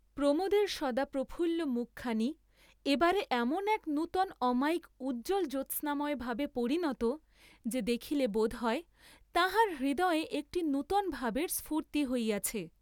প্রমোদের সদা প্রফুল্ল মুখখানি এবারে এমন এক নূতন অমায়িক উজ্জ্বল জ্যোৎস্নাময় ভাবে পরিপত, যে দেখিলে বোধ হয় তাঁহার হৃদয়ে একটি নূতন ভাবের স্ফূর্ত্তি হইয়াছে।